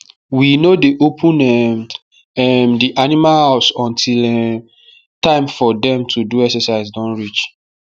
we no dey open um um the animal house until um time for dem to do exercise don reach